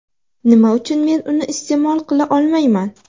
Nima uchun men uni iste’mol qila olmayman?